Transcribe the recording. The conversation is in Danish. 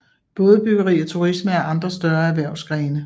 Bådebyggeri og turisme er andre større erhvervsgrene